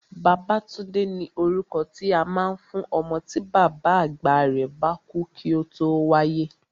Babátúndé ni orúkọ tí a máa ń fún ọmọ tí bàbá àgbà rẹ̀ bá kú kí ó tó wáyé